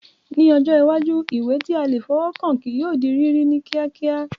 Ní ọjọ́ iwájú, ìwé tí a lè fọwọ́ kàn kí yóò di rírí ní kíákíá